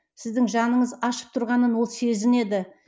сіздің жаныңыз ашып тұрғанын ол сезінеді